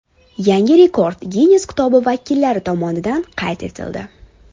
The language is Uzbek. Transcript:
Yangi rekord Ginness kitobi vakillari tomonidan qayd etildi.